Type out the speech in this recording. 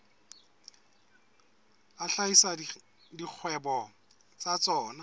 a hlahisa dikgwebo tsa tsona